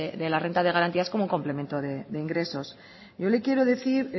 de la renta de garantías como un complemento de ingresos yo le quiero decir